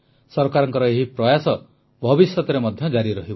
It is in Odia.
ସରକାରଙ୍କ ଏହି ପ୍ରୟାସ ଭବିଷ୍ୟତରେ ମଧ୍ୟ ଜାରି ରହିବ